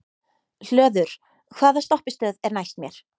Hlöður, hvaða stoppistöð er næst mér?